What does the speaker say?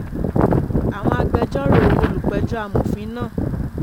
àwọn agbẹjọ́rò olùpẹ̀jọ́ amòfin ma